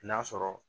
N'a sɔrɔ